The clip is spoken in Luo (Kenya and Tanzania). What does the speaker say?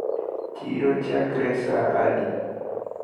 Chiro chakre ga saa adi?